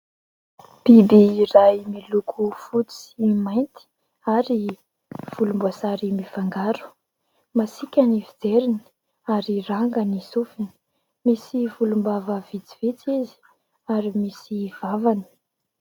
Biby iray miloko fotsy mainty, ary volomboasary mifangaro. Masika ny fijeriny ary ranga ny sofiny misy volombava vitsivitsy izy ary misy vavany.